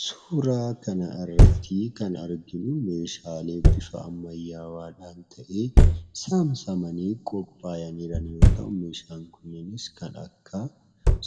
Suuraa kanarratti kan arginu meeshaalee bifa ammayyaawaadhaan ta'ee, saamsamanii qophaa'anii jiran yoo ta'u, meeshaan kunneenis kan akka